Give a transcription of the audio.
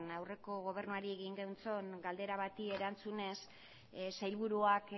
aurreko gobernuari egin genion galdera bati erantzunez sailburuak